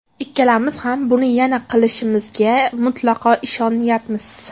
Ikkalamiz ham buni yana qilishimizga mutlaqo ishonyapmiz.